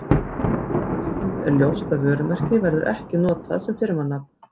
Af framansögðu er ljóst að vörumerki verður ekki notað sem firmanafn.